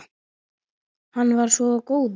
Hann var svo góður.